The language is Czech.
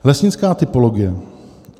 Lesnická typologie.